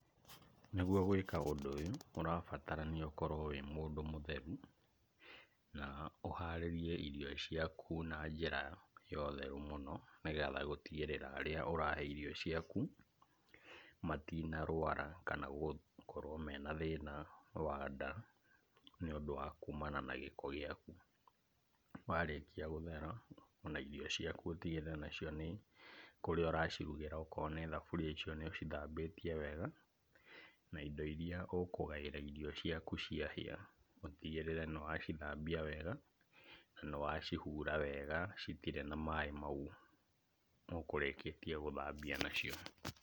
Nĩgwo gwĩka ũndũ ũyũ , ũrabatarania ũkorwo wĩ mũndũ mũtheru, na ũharĩrie irio ciaku na njĩra ya ũtheru mũno, nĩgetha gũtigĩrĩra arĩa ũrahe irio ciaku , matina rwara kana gũkorwo na thĩna wa nda , nĩ ũndũ wa kumana na gĩko gĩaku, warĩkia gũthera ona irio ciaku ũtigĩrĩre nacio nĩ kũrĩa ũracirugĩra okorwo nĩ thaburia icio nĩ ũcithambĩtie wega, na indo iria ũkũgaĩra irio ciaku ciahĩa, ũtigĩrĩre nĩwacithambia wega , nĩwacihura wega , citirĩ na maaĩ mau ,ũkũrĩkĩtie gũthambia nacio.